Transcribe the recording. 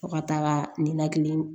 Fo ka taaga ninakili